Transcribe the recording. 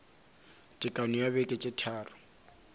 tekano ya beke tše tharo